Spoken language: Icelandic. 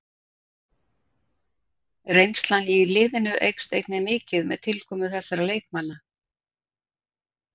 Reynslan í liðinu eykst einnig mikið með tilkomu þessara leikmanna.